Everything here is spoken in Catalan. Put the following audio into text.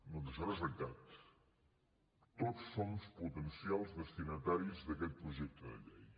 doncs això no és veritat tots som potencials destinataris d’aquest projecte de llei